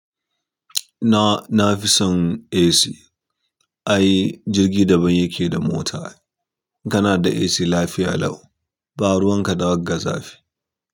Na, na fi son AC. Ai jirgi daban yake da mota. Kana da AC lafiya lau, ba ruwan ka da zafi.